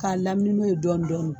K'a lamini n'o ye dɔɔnin dɔɔnin